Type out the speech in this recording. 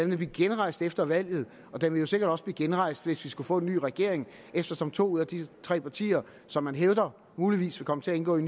vil blive genrejst efter valget og den vil sikkert også blive genrejst hvis vi skulle få en ny regering eftersom to af de tre partier som man hævder muligvis vil komme til at indgå i